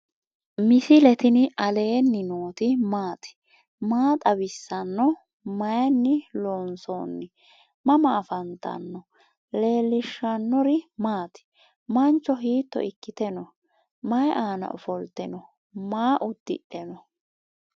misile tini alenni nooti maati? maa xawissanno? Maayinni loonisoonni? mama affanttanno? leelishanori maati? mancho hito ikkite no?mayi aana ofolte no ?maa udidhe no?